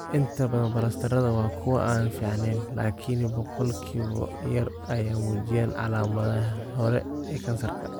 Inta badan balastarrada waa kuwo aan fiicneyn, laakiin boqolkiiba yar ayaa muujinaya calaamadaha hore ee kansarka.